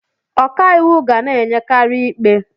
Ọka iwu ga na-enyekari ikpe.